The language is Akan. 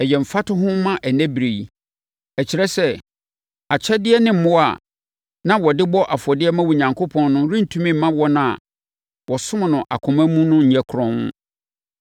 Ɛyɛ mfatoho ma ɛnnɛ berɛ yi. Ɛkyerɛ sɛ akyɛdeɛ ne mmoa a na wɔde bɔ afɔdeɛ ma Onyankopɔn no rentumi mma wɔn a wɔsom no akoma mu nyɛ kronn.